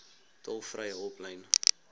tolvrye hulplyn